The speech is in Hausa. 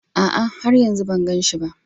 A'a, har yanzu ban gan shi ba